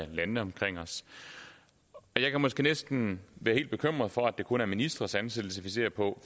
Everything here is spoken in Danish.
det landene omkring os jeg kan måske næsten være helt bekymret for at det kun er ministres ansættelse vi ser på